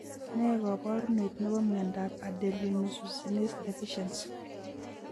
Nee kaparunet nebo miondap adenylosuccinase deficiency